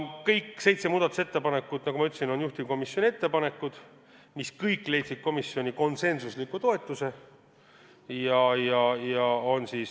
Kõik seitse muudatusettepanekut, nagu ma ütlesin, on juhtivkomisjoni ettepanekud, mis kõik said komisjonilt konsensusliku toetuse.